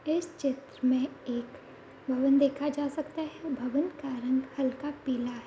इस चित्र मे एक भवन देखा जा सकता है । भवन का रंग हलका पीला है |